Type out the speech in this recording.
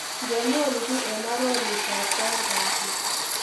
Ngenyoru kiiy eng arorutab kwaeng kasit.